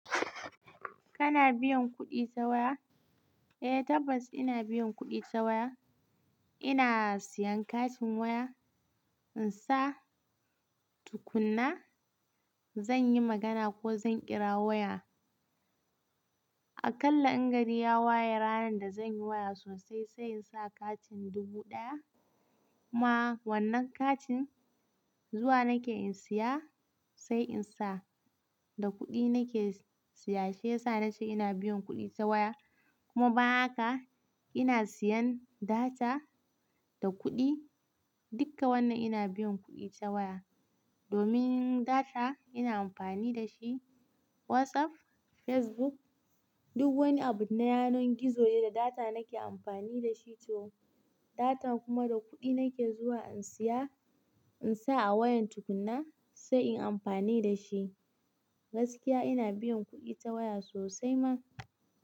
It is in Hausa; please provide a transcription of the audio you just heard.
Kana biyan kuɗi ta waya? Eh tabbas ina biyan kuɗi ta waya. Ina siyan katin waya, insa tukun na zan yi magana ko zan ƙira waya. Akalla in gari ya waye ranan da zan yi waya sosai sai in sa katin dubu ɗaya. Kuma wannan katin zuwa nake in siya sai in sa. Da kuɗi nake siya shi yasa na ce ina biyan kuɗi ta waya. Kuma bayan haka, ina siyan data da kuɗi. Dukka wannan ina biyan kuɗi ta waya. Domin data ina amfani da shi WhatsApp, Facebook duk wani abu na yanar gizo ne da data nake amfani da shi to. Data kuma da kuɗi nake zuwa in siya in sa a wayan tukun na sai inyi amfani da shi. Gaskiya ina biyan kuɗi ta waya sosai ma.